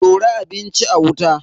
Dora abinci a wuta.